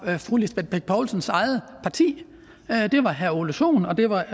fru lisbeth bech poulsens eget parti det var herre ole sohn og det var